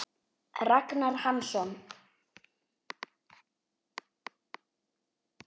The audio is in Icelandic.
Ragnar Hansson